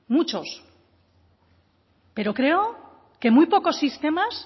muchos muchos pero creo que